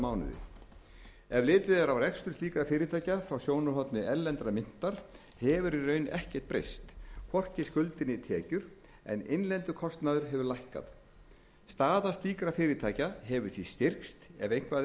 mánuði ef litið er á rekstur slíkra fyrirtækja frá sjónarhorni erlendrar myntar hefur í raun ekkert breyst hvorki skuldir né tekjur en innlendur kostnaður hefur lækkað staða slíkra fyrirtækja hefur því styrkst ef eitthvað